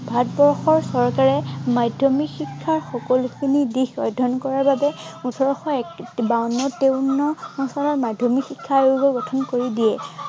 ভাৰতবৰ্ষৰ চৰকাৰে মাধ্য়মিক শিক্ষাৰ সকলোখিনি দিশ অধ্য়য়ন কৰাৰ বাবে ওঠৰশ বাৱন্ন তেৱন্ন চনত মাধ্য়মিক শিক্ষা আয়োগৰ গঠন কৰি দিয়ে।